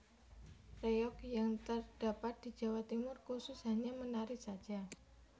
Reyog yang terdapat di Jawa Timur khusus hanya menari saja